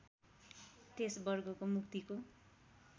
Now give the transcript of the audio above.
त्यस वर्गको मुक्तिको